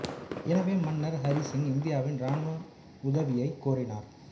எனவே மன்னர் ஹரி சிங் இந்தியாவின் இராணுவ உதவியைக் கோரினார்